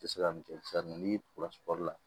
Se ka min kɛ sisan n'i la